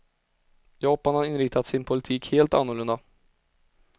Japan har inriktat sin politik helt annorlunda.